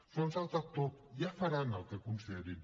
s’ho han saltat tot ja faran el que considerin